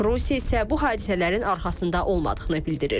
Rusiya isə bu hadisələrin arxasında olmadığını bildirir.